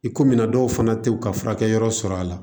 I komi na dɔw fana tɛ u ka furakɛ yɔrɔ sɔrɔ a la